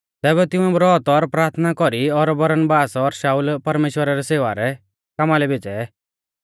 तैबै तिंउऐ ब्रौत और प्राथना कौरी और बरनबास और शाऊल परमेश्‍वरा रै सेवा रै कामा लै भेज़ै